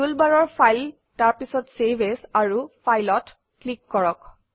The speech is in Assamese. টুলবাৰৰ ফাইল তাৰপিছত চেভ এএছ আৰু File অত ক্লিক কৰক